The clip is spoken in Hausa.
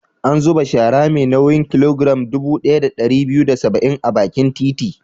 An zuba shara mai nauyin kilogiram dubu ɗaya da ɗari biyu da saba'in a bakin titi.